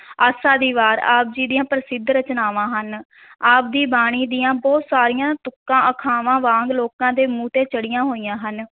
ਆਸਾ ਦੀ ਵਾਰ, ਆਪ ਜੀ ਦੀਆਂ ਪ੍ਰਸਿੱਧ ਰਚਨਾਵਾਂ ਹਨ ਆਪ ਦੀ ਬਾਣੀ ਦੀਆਂ ਬਹੁਤ ਸਾਰੀਆਂ ਤੁਕਾਂ ਅਖਾਵਾਂ ਵਾਂਗ ਲੋਕਾਂ ਦੇ ਮੂੰਹ ਤੇ ਚੜੀਆਂ ਹੋਈਆਂ ਹਨ।